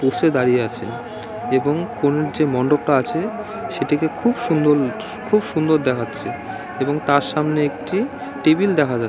বসে দাঁড়িয়ে আছে এবং কোন যে মন্ডপটা আছে সেটাকে খুব সুন্দর খুব সুন্দর দেখাচ্ছে এবং তার সামনে একটি টেবিল দেখা যা--